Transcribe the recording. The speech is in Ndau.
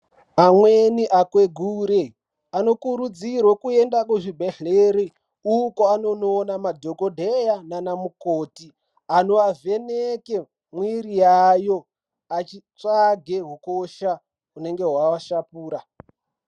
Amweni akwegure anokurudzirwe kuende kuzvibhedhleri uko anono ona madhokodheya nana mukoti ano avheneke mwiri yayo achitsvage hukosha hunenge hwaashapura.